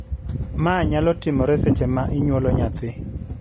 ma nyalo timore seche ma inyuolo nyathi